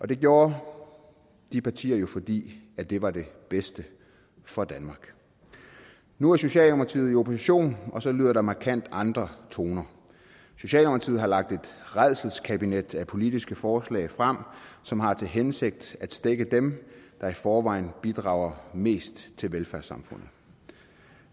det gjorde de partier jo fordi det var det bedste for danmark nu er socialdemokratiet i opposition og så lyder der markant andre toner socialdemokratiet har lagt et rædselskabinet af politiske forslag frem som har til hensigt at stække dem der i forvejen bidrager mest til velfærdssamfundet